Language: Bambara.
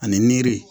Ani nre